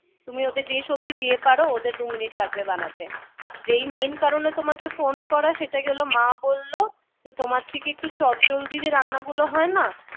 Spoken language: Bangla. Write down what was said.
তুমি ওদের দিয়ে সবজি দিয়ে পারো ওদের দুই মিনিট লাগবে বানাতে। যেই main কারণে তোমাকে ফোন করা সেটা গেল মা বলল যে তোমার থেকে একটু চটজলদি যে রান্না গুলো হয় না